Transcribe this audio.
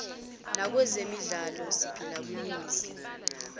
nakwezenhlalo siphila kwiningizimu